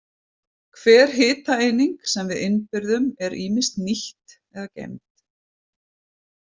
Hver hitaeining sem við innbyrðum er ýmist nýtt eða geymd.